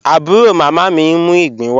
Abúró mámá mí n mú igbin wà.